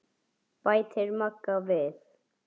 bætir Magga við.